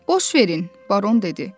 Boş verin, Baron dedi.